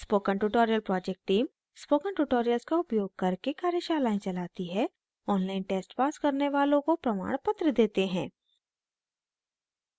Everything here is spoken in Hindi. spoken tutorial project team spoken tutorial का उपयोग करके कार्यशालाएं चलाती है ऑनलाइन टेस्ट पास करने वालों को प्रमाणपत्र देते हैं